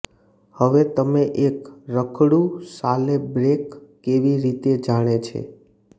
હવે તમે એક રખડુ સાલે બ્રેઙ કેવી રીતે જાણે છે